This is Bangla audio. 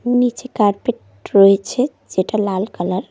নীচে কার্পেট রয়েছে যেটা লাল কালার ।